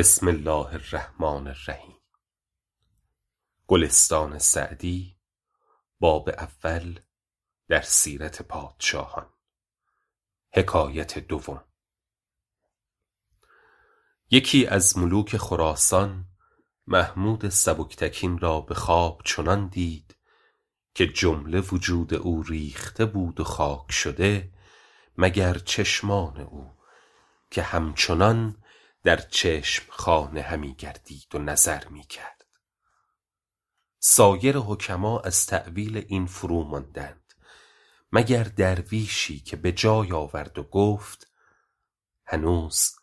یکی از ملوک خراسان محمود سبکتگین را به خواب چنان دید که جمله وجود او ریخته بود و خاک شده مگر چشمان او که همچنان در چشم خانه همی گردید و نظر می کرد سایر حکما از تأویل این فروماندند مگر درویشی که به جای آورد و گفت هنوز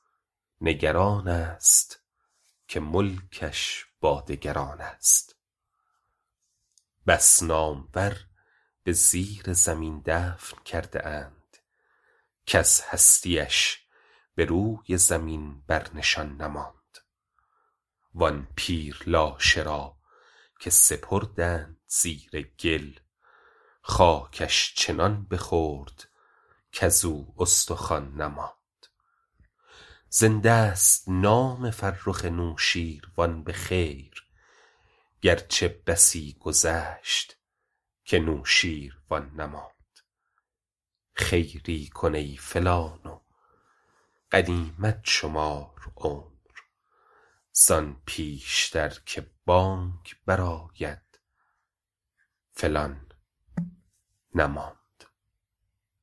نگران است که ملکش با دگران است بس نامور به زیر زمین دفن کرده اند کز هستی اش به روی زمین بر نشان نماند وآن پیر لاشه را که سپردند زیر گل خاکش چنان بخورد کزو استخوان نماند زنده ست نام فرخ نوشین روان به خیر گرچه بسی گذشت که نوشین روان نماند خیری کن ای فلان و غنیمت شمار عمر زآن پیشتر که بانگ بر آید فلان نماند